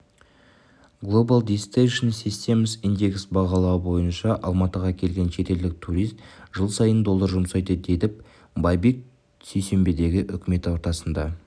глобал дестинейшн системс индекс бағалауы бойынша алматыға келген шетелдік турист жыл сайын доллар жұмсайды дедіб байбек сейсенбідегі үкімет отырысында